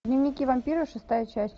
дневники вампира шестая часть